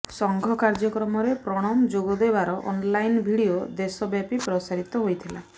ସଂଘ କାର୍ଯ୍ୟକ୍ରମରେ ପ୍ରଣବ ଯୋଗଦେବାର ଅନଲାଇନ ଭିଡିଓ ଦେଶବ୍ୟାପୀ ପ୍ରସାରିତ ହୋଇଥିଲା